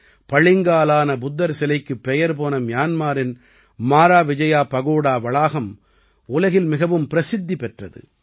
பளிங்காலான புத்தர் சிலைக்குப் பெயர் போன மியான்மாரின் மாராவிஜயா பகோடா வளாகம் உலகில் மிகவும் பிரசித்தி பெற்றது